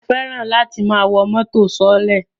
Mi ò fẹ́ràn láti máa wọ mọ́tò sọọ́lẹ̀